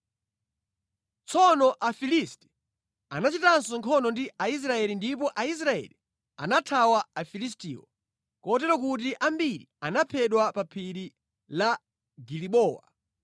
Tsono Afilisti anachitanso nkhondo ndi Aisraeli ndipo Aisraeli anathawa Afilistiwo, kotero kuti ambiri anaphedwa pa phiri la Gilibowa.